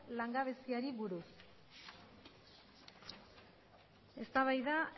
langabeziari buruz eztabaida